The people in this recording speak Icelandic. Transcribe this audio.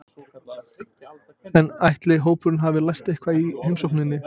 En ætli hópurinn hafi lært eitthvað í heimsókninni?